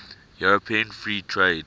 european free trade